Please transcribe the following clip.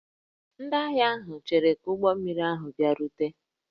Ndị ahịa ahụ cheere ka ụgbọ mmiri ahụ bịarute